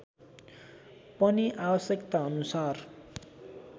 पनि आवश्यकतानुसार